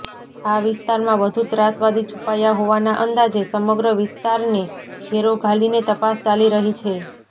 આ વિસ્તારમાં વધુ ત્રાસવાદી છુપાયા હોવાના અંદાજે સમગ્ર વિસ્તારને ઘેરો ઘાલીને તપાસ ચાલી રહી છે